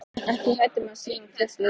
Ekki hrædd um að sýna tryllt viðbrögð.